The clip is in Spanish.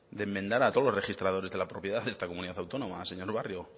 de enmendar a todos los registradores de la propiedad de esta comunidad autónoma señor barrio